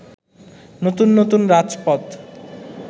নতুন নতুন রাজপথ